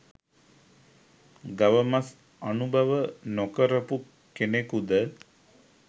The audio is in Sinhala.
ගව මස් අනුභව නොකරපු කෙනෙකුද?